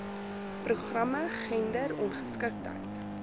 programme gender ongeskiktheid